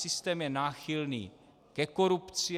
Systém je náchylný ke korupci.